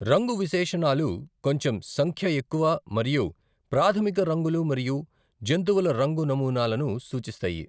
రంగు విశేషణాలు కొంచెం సంఖ్య ఎక్కువ మరియు ప్రాథమిక రంగులు మరియు జంతువుల రంగు నమూనాలను సూచిస్తాయి.